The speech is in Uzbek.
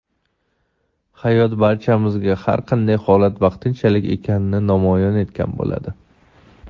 hayot barchamizga har qanday holat vaqtinchalik ekanini namoyon etgan bo‘ladi.